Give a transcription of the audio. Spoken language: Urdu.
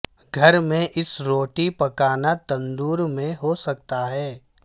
گھر میں اس روٹی پکانا تندور میں ہو سکتا ہے